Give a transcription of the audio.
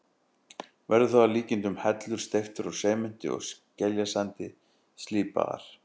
Verður það að líkindum hellur steyptar úr sementi og skeljasandi, slípaðar.